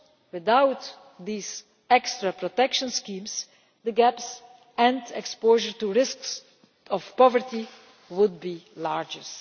without these extra protection schemes, the gaps and the exposure to risks of poverty would be larger.